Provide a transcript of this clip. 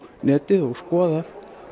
netið og skoða